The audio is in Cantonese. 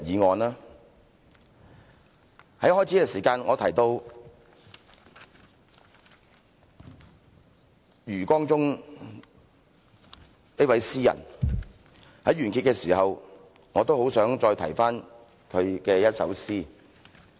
我在開始發言的時候，提到余光中這位詩人，於完結的時候，我亦很想重提他的一首詩。